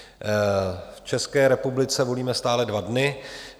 V České republice volíme stále dva dny.